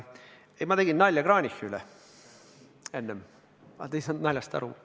Ei, ma tegin enne Kranichi üle nalja, aga te ei saanud naljast aru.